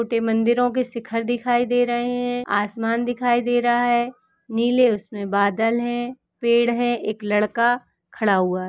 छोटे मंदिरों के शिखर दिखाई दे रहे हैं आसमान दिखाई दे रहा है नीले उसमें बादल हैं पेड़ है एक लड़का खड़ा हुआ है।